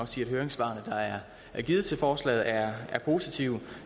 sige at høringssvarene der er indgivet til forslaget er positive